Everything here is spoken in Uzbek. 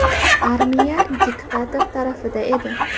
Armiya diktator tarafida edi.